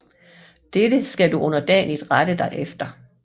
Dette skal du underdanigst rette dig efter